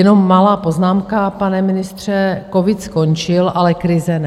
Jenom malá poznámka, pana ministře: covid skončil, ale krize ne.